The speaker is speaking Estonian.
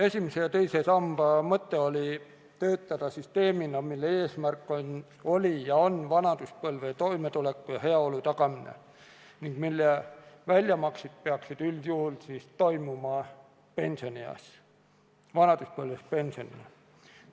Esimese ja teise samba mõte oli töötada süsteemina, mille eesmärk oli ja on vanaduspõlves toimetuleku ja heaolu tagamine, ning väljamaksete tegemine peaks üldjuhul toimuma pensionieas, vanaduspõlves pensionina.